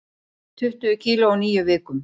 Tuttugu kíló á níu vikum